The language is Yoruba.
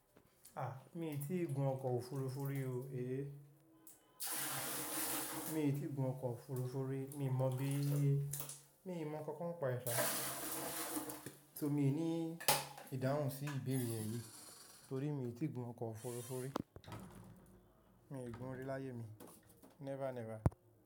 A! Mí i tí gun ọkọ̀ òfurufú rí o, eh. Mi í tí gun ọkọ̀ òfurufú rí, mí mọ̀ bí i ye. Mí mọ̀ kankan nipa e ṣà. So mi ò ní ìdáhùn sí ìbeere rẹ̀ yìí, torí mi o tí gun ọkọ̀ òfurufú. Mi ò gun rí láyé mi. Never, never.